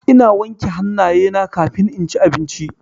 Ina wanke hannayena kafin inci abinci.